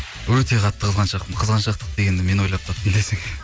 өте қатты қызғаншақпын қызғаншақтық дегенді мен ойлап таптым десең иә